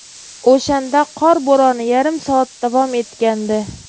O‘shanda qor bo‘roni yarim soat davom etgandi.